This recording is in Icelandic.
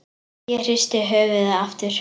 Ég hristi höfuðið aftur.